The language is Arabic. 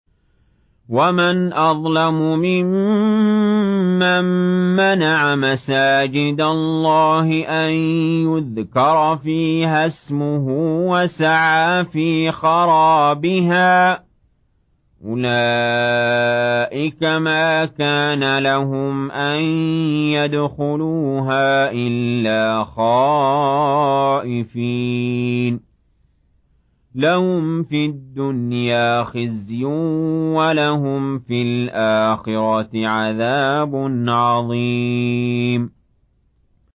وَمَنْ أَظْلَمُ مِمَّن مَّنَعَ مَسَاجِدَ اللَّهِ أَن يُذْكَرَ فِيهَا اسْمُهُ وَسَعَىٰ فِي خَرَابِهَا ۚ أُولَٰئِكَ مَا كَانَ لَهُمْ أَن يَدْخُلُوهَا إِلَّا خَائِفِينَ ۚ لَهُمْ فِي الدُّنْيَا خِزْيٌ وَلَهُمْ فِي الْآخِرَةِ عَذَابٌ عَظِيمٌ